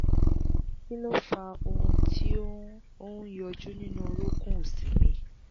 kí ló fa ohùn tí ó ń ó ń yọjú nínú orunkun òsì mi?